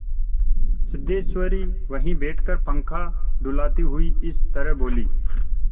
सिद्धेश्वरी वहीं बैठकर पंखा डुलाती हुई इस तरह बोली